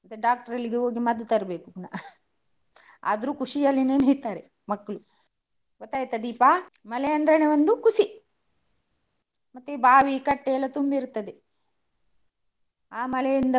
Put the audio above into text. ಮತ್ತೆ doctor ಅಲ್ಲಿ ಹೋಗಿ ಮದ್ದು ತರ್ಬೇಕು ಪುನಃ. ಆದ್ರೂ ಖುಷಿಯಲ್ಲಿ ನೆನಿತಾರೆ ಮಕ್ಳು. ಗೊತ್ತಾಯ್ತಾ ದೀಪಾ? ಮಳೆ ಅಂದ್ರೇನೇ ಒಂದು ಖುಷಿ, ಮತ್ತೆ ಬಾವಿ ಕಟ್ಟೆಯೆಲ್ಲಾ ತುಂಬಿರುತ್ತದೆ ಆ ಮಳೆಯಿಂದ.